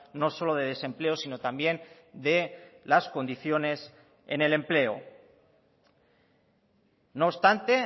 no solo de desempleo sino también de las condiciones en el empleo no obstante